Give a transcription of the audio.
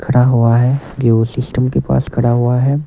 खड़ा हुआ है सिस्टम के पास खड़ा हुआ है।